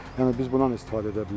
Yəni biz bundan istifadə edə bilərik.